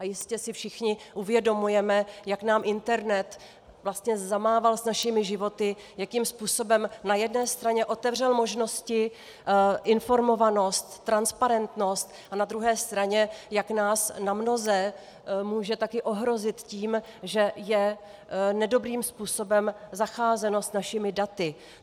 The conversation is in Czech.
A jistě si všichni uvědomujeme, jak nám internet zamával s našimi životy, jakým způsobem na jedné straně otevřel možnosti, informovanost, transparentnost, a na druhé straně, jak nás namnoze může taky ohrozit tím, že je nedobrým způsobem zacházeno s našimi daty.